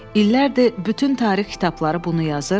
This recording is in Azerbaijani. İllərdir bütün tarix kitabları bunu yazır.